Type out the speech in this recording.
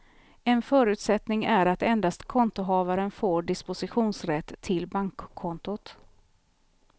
En förutsättning är att endast kontohavaren får dispositionsrätt till bankkontot.